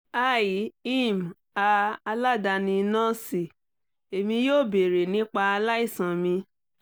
hi im a aladani nọọsi emi yoo beere nipa alaisan mi